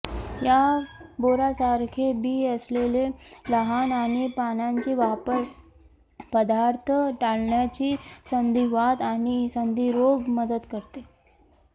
या बोरासारखे बी असलेले लहान आणि पानांची वापर पदार्थ टाळण्याची संधिवात आणि संधिरोग मदत करते